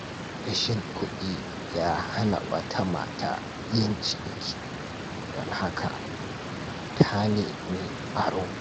Rashin kuɗi ya hana wata mata yin ciniki, don haka ta nemi aro.